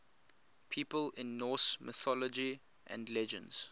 people in norse mythology and legends